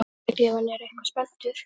Sérstaklega ef hann er eitthvað spenntur.